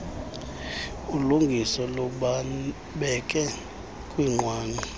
lungiso lubabeke kwinqwanqwa